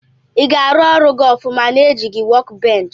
Iga arụ ọrụ gi ọfụma na ejighi wọk bench?